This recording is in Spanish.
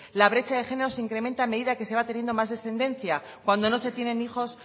la brecha de género se incrementa a medida que se va teniendo más descendencia cuando no se tienen hijos